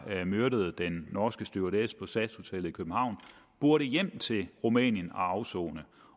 der myrdede den norske stewardesse på sas hotellet i københavn burde hjem til rumænien og afsone